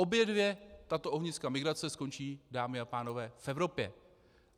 Obě dvě tato ohniska migrace skončí, dámy a pánové, v Evropě.